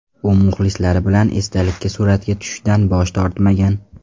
U muxlislari bilan esdalikka suratga tushishdan bosh tortmagan.